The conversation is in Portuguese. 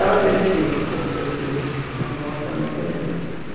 Ela teve medo, como toda cirurgia né, nós também tememos.